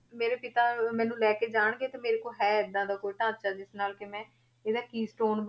ਮੇਰੇ ਪਿਤਾ ਮੈਨੂੰ ਲੈ ਕੇ ਜਾਣਗੇ ਤੇ ਮੇਰੇ ਕੋਲ ਹੈ ਏਦਾਂ ਦਾ ਕੋਈ ਢਾਂਚਾ ਜਿਸ ਨਾਲ ਕਿ ਮੈਂ ਇਹਦਾ keystone